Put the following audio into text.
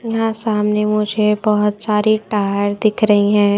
यहाँ सामने मुझे बहुत सारी टायर दिख रही है।